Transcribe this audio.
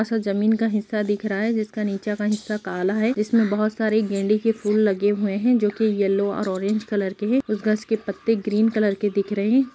असा जमीन का हिस्सा दिख रहा है जिसका नीचे का अनस्सा काला है जिसमे बहोत सारे गेंदे के फुल लगे हुए है जो की यल्लो ओर ओरेंज कलर के है उस घास के पत्ते ग्रीन कलर के दिख रहे हैं।